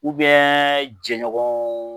Ubiyɛn jɛɲɔgɔn